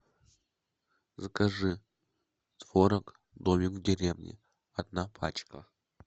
закажи творог домик в деревне одна пачка